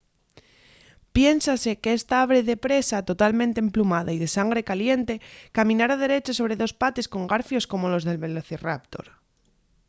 piénsase qu’esta ave de presa totalmente emplumada y de sangre caliente caminara derecha sobre dos pates con garfios como los del velociraptor